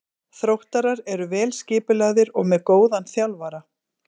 Þróttarar eru vel skipulagðir og með góðan þjálfara.